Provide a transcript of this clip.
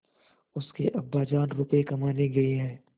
उसके अब्बाजान रुपये कमाने गए हैं